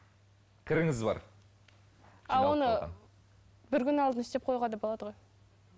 кіріңіз бар бір күн алдына істеп қоюға да болады ғой